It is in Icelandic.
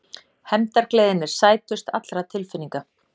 Hefndargleðin er sætust allra tilfinninga.